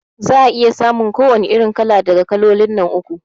Za'a iya samun ko wani irin kala daga kalolin nan uku